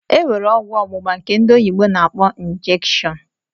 Enwere ọgwụ ọgbugba nke ndị oyibo na -akpọ "injection"